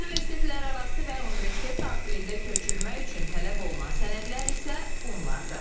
Universitetlərarası və universitet daxilində köçürmə üçün tələb olunan sənədlər isə bunlardır: